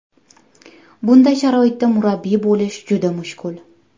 Bunday sharoitda murabbiy bo‘lish juda mushkul.